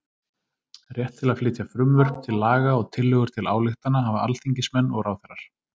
Rétt til að flytja frumvörp til laga og tillögur til ályktana hafa alþingismenn og ráðherrar.